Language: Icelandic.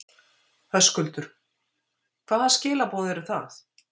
Höskuldur: Hvaða skilaboð eru það?